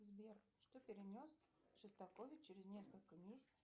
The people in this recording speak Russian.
сбер что перенес шостакович через несколько месяцев